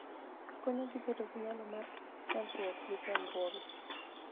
Konyogi bedo gi nyalo mar nyagruok gi chandruoge.